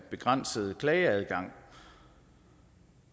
begrænsede klageadgang